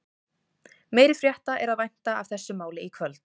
Meiri frétta er að vænta af þessu máli í kvöld.